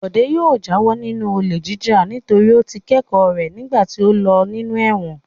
Bọ̀dé yóò jáwọ́ nínú olè jíjà nítorí ó ti kẹ́kọ̀ọ́ rẹ̀ nígbà tí ó lò nínú ẹ̀wọ̀n.